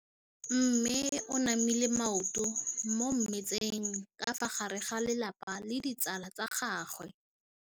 Mme o namile maoto mo mmetseng ka fa gare ga lelapa le ditsala tsa gagwe.